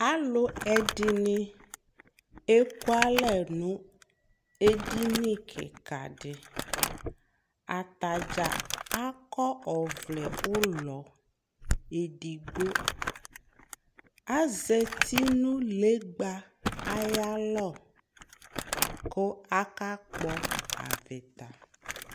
alò ɛdini eku alɛ no edini keka di atadza akɔ ɔvlɛ ulɔ edigbo azati no legba ayi alɔ kò aka kpɔ avita